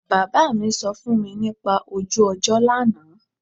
Bàbá mi sọ fún mi nípa ojú ọjọ́ lánàá